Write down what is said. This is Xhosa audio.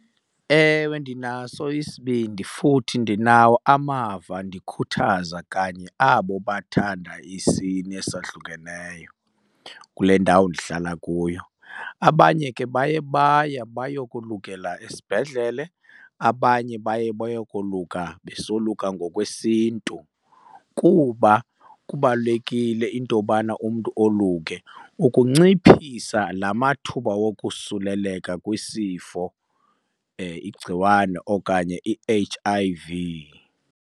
Ewe, ndinaso isibindi futhi ndinawo amava ndikhuthaza kanye abo bathanda isini esahlukeneyo kule ndawo ndihlala kuyo. Abanye ke baye baya bayokolukela esibhedlele abanye baye bayokoluka besoluka ngokwesiNtu kuba kubalulekile into yobana umntu oluke ukunciphisa la mathuba wokosuleleka kwisifo, igciwane okanye i-H_I_V.